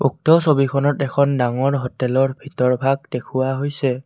উক্ত ছবিখনত এখন ডাঙৰ হোটেল ৰ ভিতৰভাগ দেখুওৱা হৈছে।